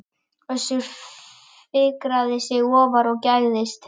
Össur fikraði sig ofar og gægðist.